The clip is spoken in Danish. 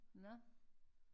Nårh